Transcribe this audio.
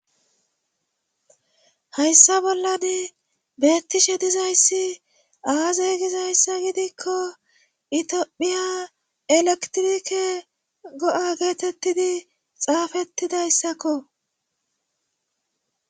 Hayssa bollan beettishe dizayssi aaze gizayssa gidikko itphiya elektrike go'a geetettidi xaafettidayssakko